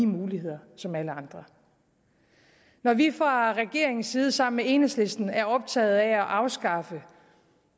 muligheder som alle andre når vi fra regeringens side sammen med enhedslisten er optaget af at afskaffe